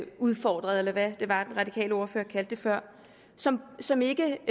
udfordrede eller hvad det var den radikale ordfører kaldte det før som som ikke